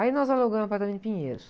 Aí nós alugamos o apartamento de Pinheiros.